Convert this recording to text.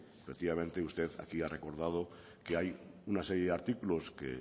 efectivamente usted aquí ha recordado que hay una serie de artículos que